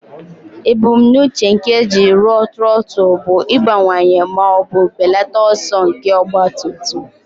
Ebumnuche nke eji rụọ trọtụl bụ ịbawanye ma ọ bụ belata ọsọ nke ọgba tum tum.